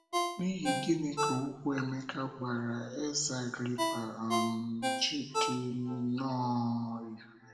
N’ihi gịnị ka okwu Emeka gwara ezé Agrịpa um ji dị nnọọ irè?